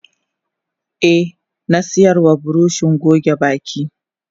Eh nasiyarwa buroshi goge baki.